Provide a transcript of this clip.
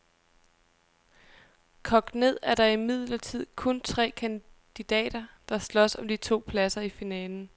Kogt ned er der imidlertid kun tre kandidater, der slås om de to pladser i finalen.